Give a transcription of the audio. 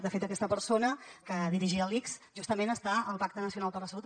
de fet aquesta persona que dirigia l’ics justament està al pacte nacional per a la salut